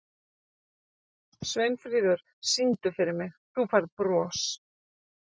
Sveinfríður, syngdu fyrir mig „Þú Færð Bros“.